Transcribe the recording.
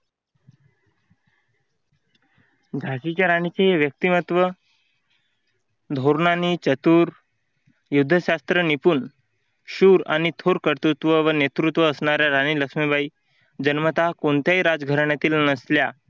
झाशीच्या राणीचे व्यक्तिमत्व धोरणांनी चतुर, युद्धशास्त्र निपुण, शूर आणि थोर कर्तृत्व व नेतृत्व असणाऱ्या राणी लक्ष्मीबाई जन्मता कोणत्याही राजघराण्यातील नसल्या.